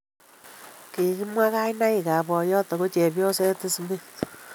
Kigimwa kainaikab boiyot ago chepyoset Smith